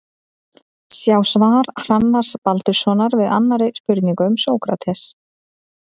Sjá svar Hrannars Baldurssonar við annarri spurningu um Sókrates.